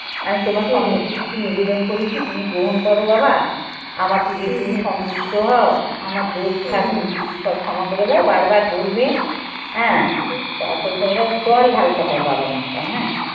আমি তোমার সম্মুখে কিছু নিবেদন করেছি তুমি গ্রহণ কর বাবা। আমার পুজোয় তুমি সন্তুষ্ট হও আমার দোষ ঘাট ভুলত্রুটি সব ক্ষমা করে দাও। বারবার বলবে আহ তারপর জল ঢালতে হয় বাবার মাথায় হ্যাঁ।